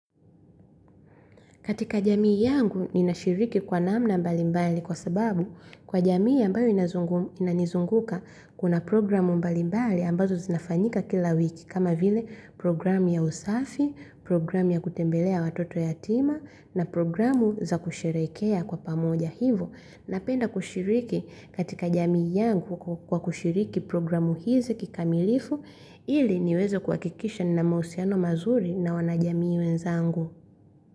Katika jamii yangu ninashiriki kwa namna mbalimbali kwa sababu kwa jamii ambayo inazungu inanizunguka kuna programu mbalimbali ambazo zinafanyika kila wiki kama vile programu ya usafi, programu ya kutembelea watoto yatima na programu za kusherehekea kwa pamoja hivyo. Napenda kushiriki katika jamii yangu kwa kushiriki programu hizi kikamilifu ili niweze kuhakikisha nina mahusiano mazuri na wanajamii wenzangu.